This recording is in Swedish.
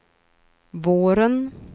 våren